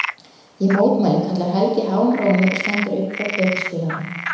Ég mótmæli, kallar Helgi háum rómi og stendur upp frá plötuspilaranum.